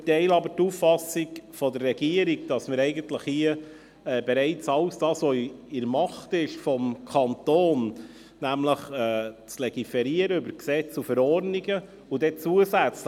Wir teilen aber die Auffassung der Regierung, dass wir hier eigentlich bereits all das tun, was in der Macht des Kantons steht, nämlich über Gesetze und Verordnungen zu legiferieren.